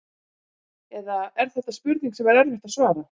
Eða er þetta spurning sem er erfitt að svara?